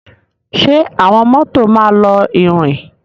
Ṣe awọn mọto ma lọ irin?